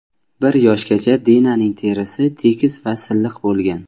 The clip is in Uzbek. Bir yoshgacha Dinaning terisi tekis va silliq bo‘lgan.